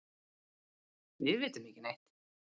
Við vitum ekki neitt.